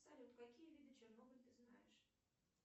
салют какие виды чернобыль ты знаешь